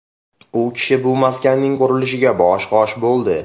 U kishi bu maskanning qurilishiga bosh-qosh bo‘ldi.